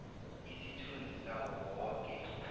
isithunzi sawo woke